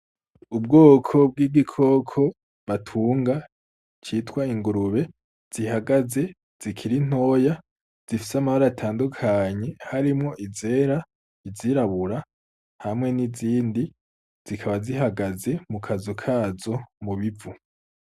Ubwoko bw’igikoko batunga citwa ingurube, zihagaze zikiri nyoya zifise amabara atandukanye, harimwo izera, izirabura, hamwe nizindi, zikaba zihagaze mukazu kazo mubivu.